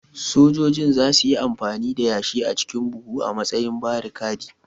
Sojojin za su yi amfani da yashi a cikin buhu a matsayin barikadi